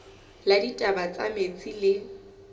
la ditaba tsa metsi le